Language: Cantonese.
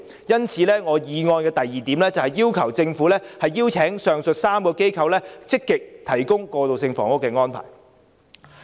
因此，我的議案第二部分要求政府邀請上述3個機構積極提供過渡性房屋。